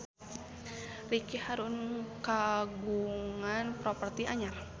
Ricky Harun kagungan properti anyar